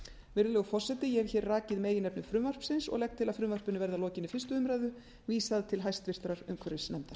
virðulegur forseti ég hef hér rakið meginefni frumvarpsins og legg til að því verði að lokinni fyrstu umræðu vísað til háttvirtrar umhverfisnefndar